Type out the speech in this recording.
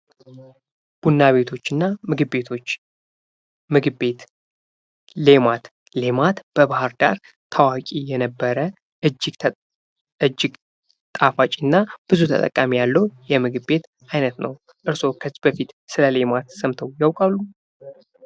ቡና ቤቶችና ምግብ ቤቶች፦ ምግብ ቤት፦ ሌማት፡ሌማት በባህር ዳር ታዋቂ የነበረ እጅግ ጣፋጭና ብዙ ተጠቃሚ ያለው የምግብ ቤት አይነት ነው። እርስዎ ከዚህ በፊት ስለ ሌማት ሰምተው ያውቃሉ?